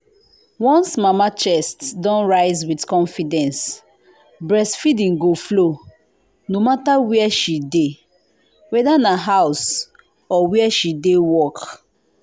once mama chest don rise with confidence breastfeeding go flow no matter where she dey… whether na house or where she de work.